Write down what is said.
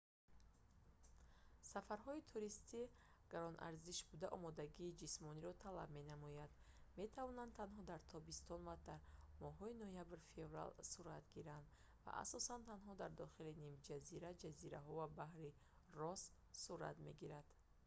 сафарҳои туристӣ гаронарзиш буда омодагии ҷисмониро талаб менамоянд метавонанд танҳо дар тобистон ва то моҳҳои ноябр-феврал сурат гиранд ва асосан танҳо дар дохили нимҷазира ҷазираҳо ва баҳри росс сурат мегиранд